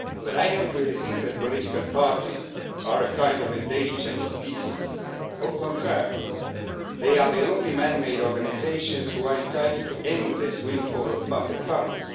But I do not really think that political parties are a kind of endangered species They are the only man made organisations which are entitled to an endless windfall of public funds.